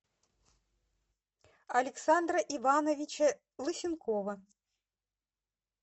александра ивановича лысенкова